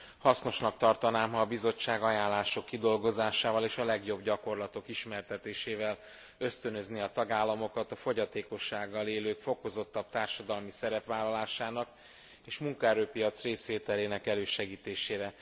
Hasznosnak tartanám, ha a Bizottság ajánlások kidolgozásával és a legjobb gyakorlatok ismertetésével ösztönözné a tagállamokat a fogyatékossággal élők fokozottabb társadalmi szerepvállalásának és munkaerő piaci részvételének elősegítésére.